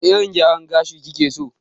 Wane irin gyaran gashi kike so?